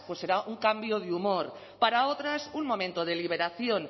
pues será un cambio de humor para otras un momento de liberación